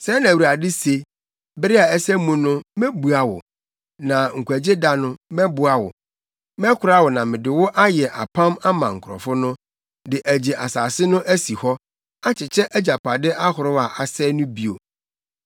Sɛɛ na Awurade se: “Bere a ɛsɛ mu no, mebua wo, na nkwagyeda no, mɛboa wo; mɛkora wo na mede wo ayɛ apam ama nkurɔfo no, de agye asase no asi hɔ akyekyɛ agyapade ahorow a asɛe no bio,